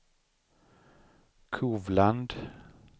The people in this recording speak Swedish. Kovland